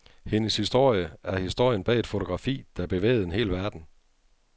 Hendes historie er historien bag et fotografi, der bevægede en hel verden.